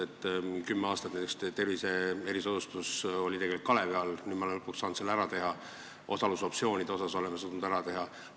Kümme aastat oli näiteks tervisekulude erisoodustusmaks tegelikult kalevi all, nüüd me oleme lõpuks saanud selle ära teha, osalusoptsioonid oleme suutnud ära teha.